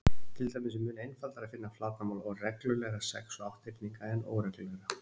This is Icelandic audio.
Til dæmis er mun einfaldara að finna flatarmál reglulegra sex- og átthyrninga en óreglulegra.